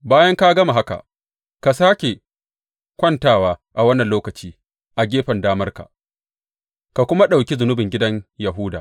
Bayan ka gama haka, ka sāke kwantawa, a wannan lokaci a gefen damarka, ka kuma ɗauki zunubin gidan Yahuda.